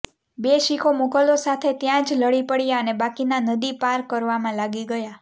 બે શિખો મુઘલો સાથે ત્યાં જ લડી પડ્યા અને બાકીનાં નદી પાર કરવામાં લાગી ગયાં